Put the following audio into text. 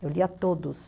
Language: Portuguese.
Eu lia todos.